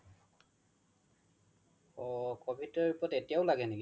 অ covid ৰ report এতিয়াও লাগে নেকি